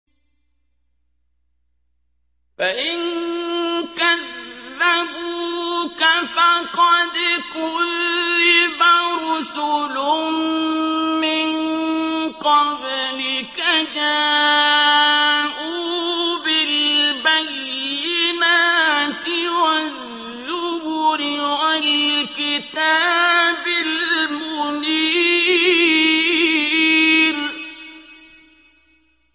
فَإِن كَذَّبُوكَ فَقَدْ كُذِّبَ رُسُلٌ مِّن قَبْلِكَ جَاءُوا بِالْبَيِّنَاتِ وَالزُّبُرِ وَالْكِتَابِ الْمُنِيرِ